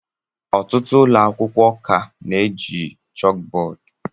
Ọtụtụ ụlọ akwụkwọ ka na-eji chalkboard